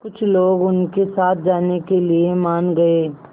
कुछ लोग उनके साथ जाने के लिए मान गए